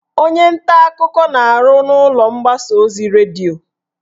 Onye nta akụkọ na-arụ n'ụlọ mgbasa ozi redio